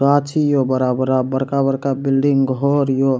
गाछी ये बड़ा-बड़ा बड़का-बड़का बिल्डिंग घर ये --